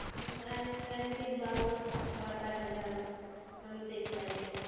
আর ইন্দ্রানীদির বাবা মা কি খাবার পাঠাবে আবার? আমি তো excited.